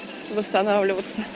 восстанавливаться